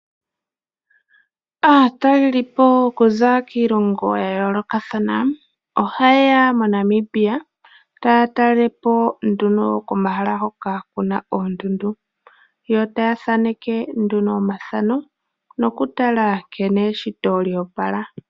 Aatalelipo okuza kiilongo ya yoolokathana ohaye ya mo Namibia, taya talelepo nduno komahala hoka kuna oondundu, yo taya thaaneke nduno omathano nokutala nkene eshito lyo opala.